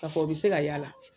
A fɔ o bɛ se ka y'a la.